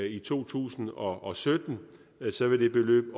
i to tusind og og sytten vil det beløb